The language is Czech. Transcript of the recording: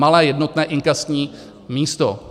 Malé jednotné inkasní místo.